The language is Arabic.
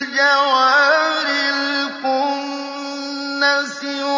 الْجَوَارِ الْكُنَّسِ